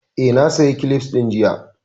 Eh, na saya kilifs ɗin jiya